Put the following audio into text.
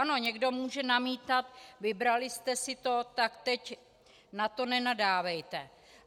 Ano, někdo může namítat: Vybraly jste si to, tak teď na to nenadávejte.